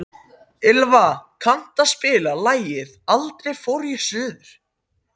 Ylva, kanntu að spila lagið „Aldrei fór ég suður“?